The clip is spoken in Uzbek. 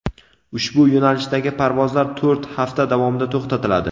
ushbu yo‘nalishdagi parvozlar to‘rt hafta davomida to‘xtatiladi.